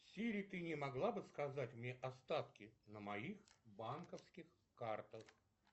сири ты не могла бы сказать мне остатки на моих банковских картах